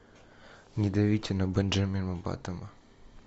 не давите на бенджамина баттона